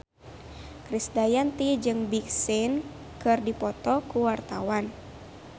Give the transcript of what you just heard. Krisdayanti jeung Big Sean keur dipoto ku wartawan